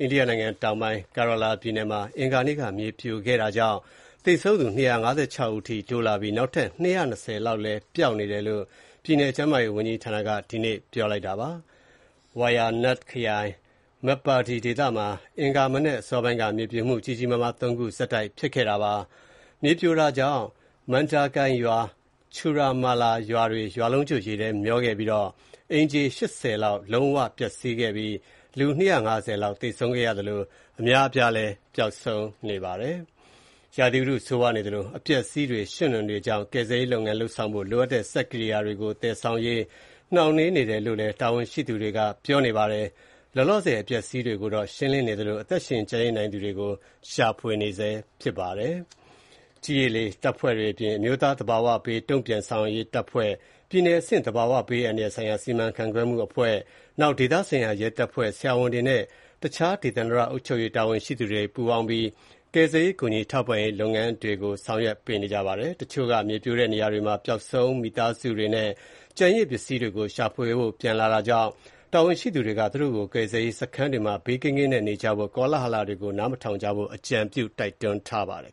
အိန္ဒိယနိုင်ငံတောင်ပိုင်း Kerala ပြည်နယ်မှာ အင်္ဂါနေ့က ရေကြီး မြေပြိုုမှုတွေကြောင့် သေဆုံးသူ ၂၅၆ ဦးအထိ တိုးလာပြီး နောက်ထပ် ၂၂၀ လောက်ပျောက်နေတယ်လို့ ပြည်နယ်ကျန်းမာရေးဝန်ကြီးဌာနက ဒီကနေ့ ပြောပါတယ်။ Wayanad ခရိုင် Meppadi ဒေသမှာ အင်္ဂါမနက်အစောပိုင်းက မြေပြိုမှု ကြီးကြီးမားမား ၃ ခုဆက်တိုက်ဖြစ်ခဲ့တာပါ။ မြေပြိုတာကြောင့် Mundakai ရွာ နဲ့ Churalmala ရွာတွေ ရွာလုံးကျွတ် ရေထဲမျောပါခဲ့ပြီးတော့ အိမ်ခြေ ၈၀ လောက် လုံးဝပျက်စီးခဲ့ပြီး လူ ၂၅၀ လောက်သေဆုံးခဲ့သလို အများအပြား ပျောက်ဆုံးနေပါတယ်။ ရာသီဥတုဆိုးရွားနေသလို အပျက်အစီးတွေ၊ ရွှံ့နွံတွေကြောင့် ကယ်ဆယ်ရေး လုပ်ဆောင်ဖို့ လိုအပ်တဲ့ စက်ကိရိယာတွေကို သယ်ဆောင်ရေး နှောင့်နှေးနေတယ်လို့ တာဝန်ရှိသူတွေကပြောပါတယ်။ လောလောဆယ် အပျက်အစီးတွေကို ရှင်းလင်းနေသလို အသက်ရှင် ကျန်ရစ်နိုင်သူတွေကို ရှာဖွေနေတာပါ။ ကြည်း၊ ရေ၊ လေ တပ်ဖွဲ့တွေအပြင် အမျိုးသား သဘာဝဘေး တုံ့ပြန်ဆောင်ရွက်ရေးတပ်ဖွဲ့၊ ပြည်နယ်အဆင့် သဘာဝဘေးအန္တရာယ်ဆိုင်ရာ စီမံခန့်ခွဲမှုအဖွဲ့၊ ဒေသဆိုင်ရာရဲတပ်ဖွဲ့၊ ဆရာဝန်တွေနဲ့ တခြား ဒေသန္တရ အုပ်ချုပ်ရေးတာဝန်ရှိသူတွေ ပူးပေါင်းပြီး ကယ်ဆယ်ရေးနဲ့ ကူညီထောက်ပံ့ရေး လုပ်ငန်းတွေကို ဆောင်ရွက်ပေးနေပါတယ်။ တချို့က မြေပြိုတဲ့နေရာတွေမှာ ပျောက်ဆုံးမိသားစုဝင်တွေနဲ့ ကျန်ရစ်ပစ္စည်းတွေကို ရှာဖွေဖို့ ပြန်လာကြတာကြောင့် တာဝန်ရှိသူတွေက သူတို့ကို ကယ်ဆယ်ရေးစခန်းတွေမှာ ဘေးကင်းကင်းနေကြဖို့နဲ့ ကောလဟလတွေကို နားမထောင်ကြဖို့ အကြံပြုတိုက်တွန်းထားပါတယ်